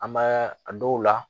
An b'a a dɔw la